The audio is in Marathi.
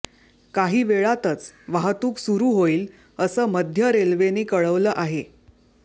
काही वेळातच वाहतूक सुरू होईल असं मध्य रेल्वेने कळवलं आहे